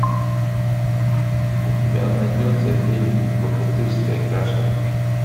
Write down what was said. у тебя найдется фильм богатырская каша